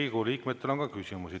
Riigikogu liikmetel on ka küsimusi.